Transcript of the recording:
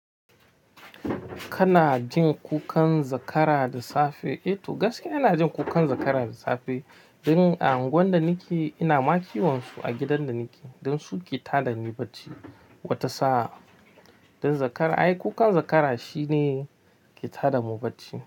Kana jin kukan zakara da safe? Eh to gaskiya ina jin kukan zakara da safe. Don a unguwan da nake, ina ma kiwonsu a gidan da nake. Don su ke tada ni bacci, wata sa'a. Don zakara ai kukan zakara shine, ke tada mu bacci.